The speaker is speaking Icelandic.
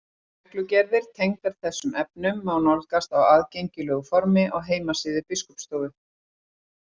Reglugerðir tengdar þessum efnum má nálgast á aðgengilegu formi á heimasíðu Biskupsstofu.